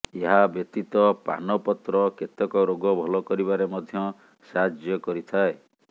ଏହା ବ୍ୟତୀତ ପାନ ପତ୍ର କେତେକ ରୋଗ ଭଲ କରିବାରେ ମଧ୍ଯ ସାହାଯ୍ୟ କରିଥାଏ